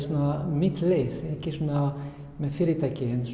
mína leið ekki svona með fyrirtæki